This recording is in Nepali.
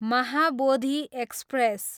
महाबोधी एक्सप्रेस